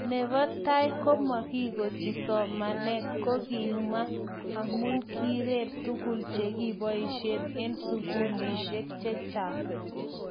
nebo tai ko, komagigochi somanet kogima amu kireer tuguk chegiboishen eng sugulishek chechang